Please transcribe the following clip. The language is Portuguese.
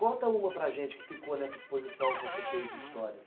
Conta uma para gente que ficou nessa exposição que você fez de histórias.